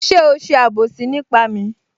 Ṣé o ṣe àbòsí nípa mi?